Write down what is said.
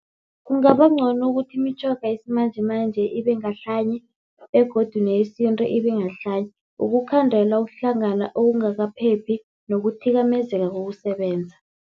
Kungaba ncono ukuthi imitjhoga yesimanjemanje ibe ngahlanye begodu neyesintu ibe ngahlanye. Ukukhandela ukuhlangana okungakaphephi nokuthikamezeka kokusebenza.